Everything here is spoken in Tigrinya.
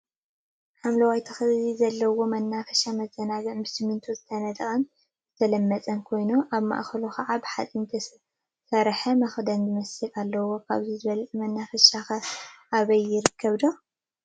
ሓምለዋይ ተክሊታት ዘለዎ መናፈሻ/መዘናግዒ/ ብስሚንቶ ዝተነደቀን ዝተለመፀን ኮይኑ፤ አብ ማእከሉ ከዓ ብሓፂን ዝተሰርሐ መክደን ዝመስል አለዎ፡፡ ካብዚ ዝበለፀ መናፈሻ ኸ አበይ ይርከብዶ?